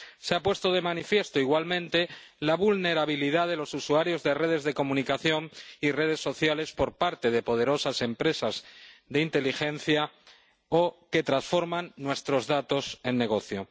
Se ha puesto de manifiesto, igualmente, la vulnerabilidad de los usuarios de redes de comunicación y redes sociales por parte de poderosas empresas de inteligencia o que transforman nuestros datos en negocio.